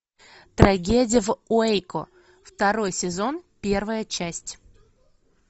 трагедия в уэйко второй сезон первая часть